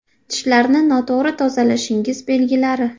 Tishlarni noto‘g‘ri tozalashingiz belgilari.